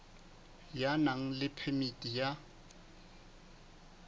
ya nang le phemiti ya